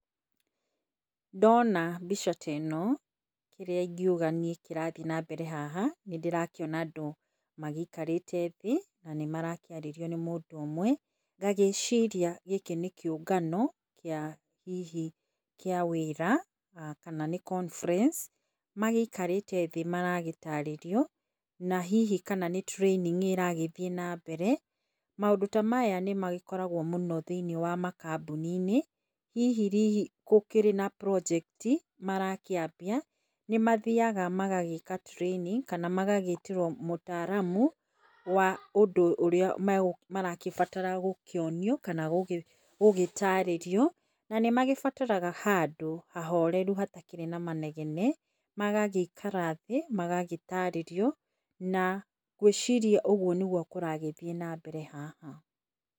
Ndona mbica ta ĩno, kĩrĩa ingiuga niĩ kĩarathiĩ na mbere haha, nĩ ndĩrakĩona andũ magĩikarĩte thĩĩ, na nĩ marakĩarĩrio nĩ mũndũ ũmwe. Ngagĩciria gĩkĩ nĩ kĩũngano kĩa hihi kĩa wĩra, kana nĩ conference magĩikarĩte thĩĩ magĩtarĩrio na hihi kana nĩ training ĩragĩthiĩ na mbere, maũndũ ta maya nĩ magĩkoragwo mũno thĩiniĩ wa makambuni inĩ hihi gũkĩrĩ na project marakĩambia nĩmathiaga magagĩka training kana magagĩtĩrwo mũtaramu wa ũndũ ũrĩa maragĩbatara gũkĩonio kana gũgĩtarĩrio na nĩ magĩbataraga handũ hahoreru hatakĩrĩ na manegene magagĩikaratha thĩ magagĩtarĩrio na ngwĩciria ũguo nĩguo kũragĩthiĩ na mbere haha.